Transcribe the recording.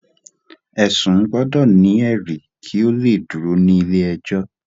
ẹsun gbọdọ ni eri kí o le dúró ní ilé ẹjọ